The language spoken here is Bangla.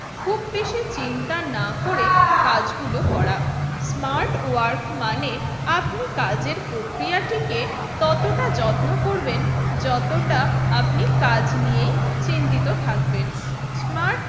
চিন্তা না করে কাজগুলো করা। স্মার্ট ওয়ার্ক মানে আপনি কাজের প্রক্রিয়াটিকে ততটা যত্ন করবেন যতটা আপনি কাজ নিয়েই চিন্তিত থাকবেন। স্মার্ট